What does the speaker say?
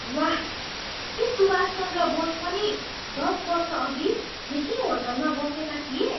वाह! के सुभाष चन्द्र बोस पनि दस वर्षअघि यही होटलमा बसेका थिए?